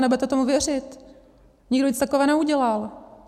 A nebudete tomu věřit, nikdo nic takového neudělal.